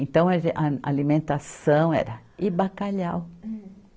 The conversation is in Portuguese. Então, a ge, a a alimentação era... E bacalhau.